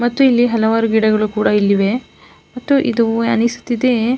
ಮತ್ತು ಇಲ್ಲಿ ಹಲವಾರು ಗಿಡಗಳು ಕೂಡ ಇಲ್ಲಿವೆ ಮತ್ತೆ ಇದು ಅನ್ನಿಸುತ್ತಿದೆ.